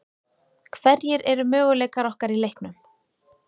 Hverjir eru möguleikar okkar í leiknum?